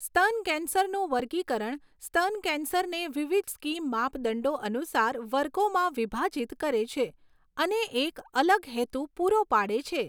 સ્તન કેન્સરનું વર્ગીકરણ સ્તન કેન્સરને વિવિધ સ્કીમ માપદંડો અનુસાર વર્ગોમાં વિભાજિત કરે છે અને એક અલગ હેતુ પૂરો પાડે છે.